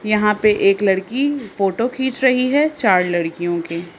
यहां पे एक लड़की फोटो खींच रहे है चार लड़कियों के।